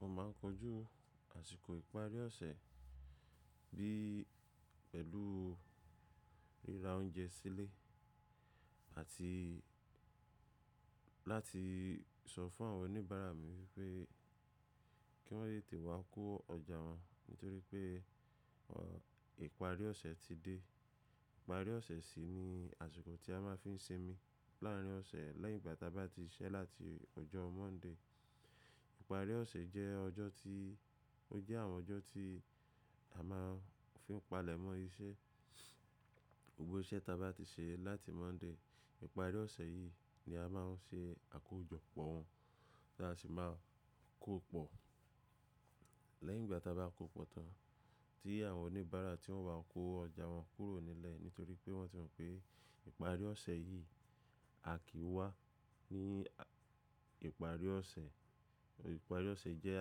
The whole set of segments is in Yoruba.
Mo máà ń kojú àsìkò ìparí ọ̀sẹ̀ bí pẹ̀lú ríra oúnjẹ sílé àti láti sọ fún àwọn oníbàárà mi wípé kí wọ́n lè tìwá kó ọjà wọn nítorí pé ọ ìparí ọ̀sẹ̀ ti dé. Ìparí ọ̀sẹ̀ sì ni àsìkò tí a máa ń fi ń sinmi láàrin ọ̀sẹ̀ lẹ́yìn ìgbà tí a bá ti ṣẹ́ láti ọjọ́ Monday. Ìparí ọ̀sẹ̀ jẹ́ ọjọ́ tí ó jẹ́ àwọn ọjọ́ tí a máa ń fi ń palẹ̀mọ́ iṣẹ́ gbogbo iṣẹ́ ta bá ti ṣe láti Monday. Ìparí ọ̀sẹ̀ yìí ni a máa ń ṣe àkójọpọ̀ wọn bí a sì máa kó pọ̀ lẹ́yìn ìgbà tí a bá kó pọ̀ tán tí àwọn oníbàárà tí wọ́n wá kó ọjà wọn kúrò nílẹ̀ nítorí pé wọ́n ti mọ̀ pé ìparí ọ̀sẹ̀ yìí, a kì í wá ní ìparí ọ̀sẹ̀. Ìparí ọ̀sẹ̀ jẹ́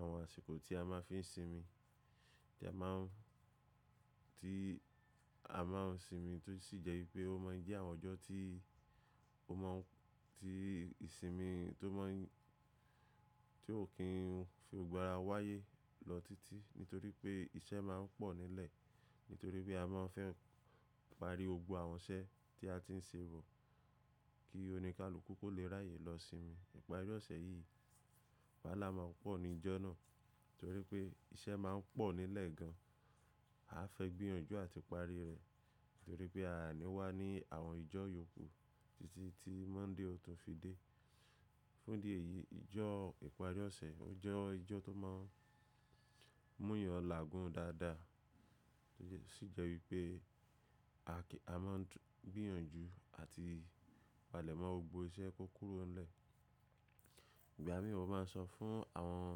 àwọn àsìkò tí a máa ń fi ń sinmi tí a máà ń tí a máà ń sinmi tó sì jẹ́ wípé ó máà ń jẹ́ àwọn ọjọ́ tí ó mọ̀ tí ìsinmi tó mọ̀ ń tí ò kí ń fi gbogbo ara wáyé lọ títí nítorí pé iṣẹ́ máa ń pọ̀ nílẹ̀ nítorí pé a máa ń fẹ́ pàri gbogbo àwọn iṣẹ́ tí a ti ń ṣe bọ̀ kí oníkálukú kò lè ráyè lọ sinmi. Ìparí ọ̀sẹ̀ yìí wálà máa pọ̀ ní ìjọ náà nítorí pé iṣẹ́ máa ń pọ̀ nílẹ̀ gan. A fẹ́ gbìyànjú àti parí rẹ̀ nítorí pé a àní wá ní àwọn ìjọ́ yòókù títí tí Monday ò tún fi dé. Fún díẹ̀ yìí ìjọ ìparí ọ̀sẹ̀ ó jẹ́ ìjọ tó máa ń múyàn làágùn dáadáa tó sì jẹ́ wípé a kí a máa ń gbìyànjú àti palẹ̀mọ́ gbogbo iṣẹ́ tó kúrò nílẹ̀. Ìgbà mì mo máa ń sọ fún àwọn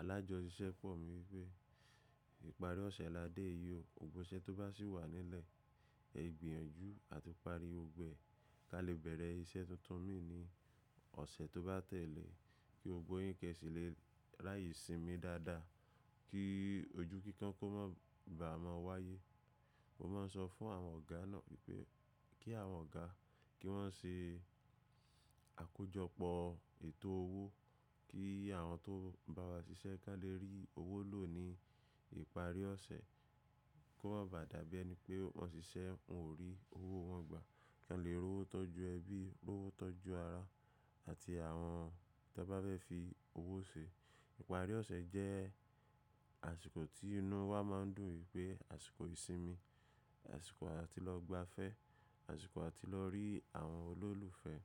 alájọṣìṣẹ́ pọ̀ mí wípé ìparí ọ̀sẹ̀ la dé yìí o, gbogbo iṣẹ́ tó bá sì wà nílẹ̀ ẹ gbìyànjú àti parí gbogbo ẹ̀ ka lè bẹ̀rẹ̀ iṣẹ́ tuntun mìí ní ọ̀sẹ̀ tó bá tẹ̀lé kí gbogbo yín kẹ́ síle raye sinmi dáadáa kí ojú kíkan kó má bàa mọ wáyé. Mo máa ń sọ fún àwọn ọ̀gá náà wípé kí àwọn ọ̀gá kí wọ́n ṣe àkójọpọ̀ ètò owó kí àwọn tó ń bá wa ṣiṣẹ́ kí wọ́n lè rí owó lò ní ìparí ọ̀sẹ̀ kó má bàa dàbí ẹni pé wọn ṣiṣẹ́ wọn ò rí owó wọn gbà kí wọ́n lè rówó tọ́jú ẹbí, rówó tọ́jú ara àti àwọn tí wọ́n bá fẹ́ fi owó ṣe. Ìparí ọ̀sẹ̀ jẹ́ àsìkò tí inú wa máa ń dùn wípé àsìkò ìsinmi, àsìkò àti lọ gbafẹ́, àsìkò àti lọ rí àwọn olólùfẹ́.